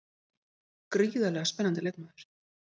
Gríðarlega spennandi leikmaður.